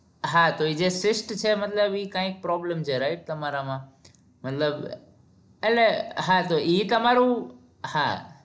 હા તો જે છે મતલબ ઈ કાઈક probalm છે right તમારા માં મતલબ એટલે હા તો ઈ તમારું હા